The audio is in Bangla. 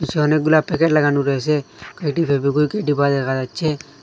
ইসে অনেকগুলা প্যাকেট লাগানু রয়েসে কয়টি ফেবিকুইকে ডিব্বা দেখা যাচ্চে।